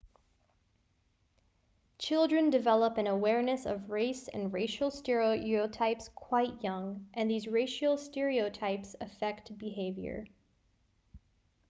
children develop an awareness of race and racial stereotypes quite young and these racial stereotypes affect behavior